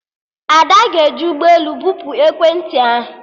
Ada ga-eji ụgbọelu bupu ekwentị ahụ